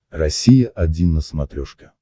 россия один на смотрешке